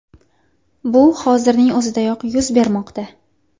Bu hozirning o‘zidayoq yuz bermoqda.